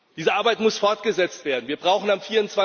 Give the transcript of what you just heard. Diese Arbeit muss fortgesetzt werden, wir brauchen am